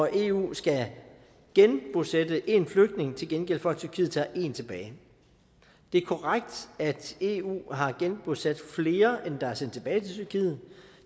eu skal genbosætte én flygtning til gengæld for at tyrkiet tager én tilbage det er korrekt at eu har genbosat flere end der er sendt tilbage til tyrkiet